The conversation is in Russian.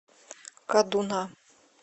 кадуна